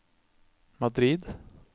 Madrid